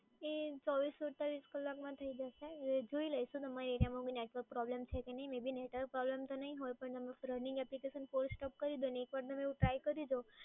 એ ચોવીસ અડતાલીસ કલાકમાં થઈ જશે. એ જોઈ લેશું તમારા area માં network problem છે કે નહીં. may be network problem તો નહીં હોય પણ તમે running application force stop કરી જુઓ એક વાર તમે try કરી જુઓ.